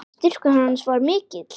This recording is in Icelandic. Styrkur hans var mikill.